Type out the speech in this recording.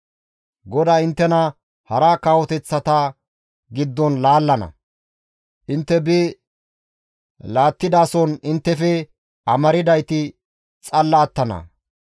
GODAY inttena hara kawoteththata giddon laallana; intte bi laalettidason inttefe amardayti xalla attana.